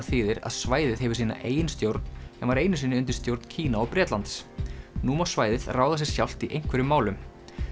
þýðir að svæðið hefur sína eigin stjórn en var einu sinni undir stjórn Kína og Bretlands nú má svæðið ráða sér sjálft í einhverjum málum